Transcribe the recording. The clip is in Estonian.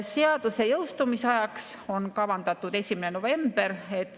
Seaduse jõustumise ajaks on kavandatud 1. november.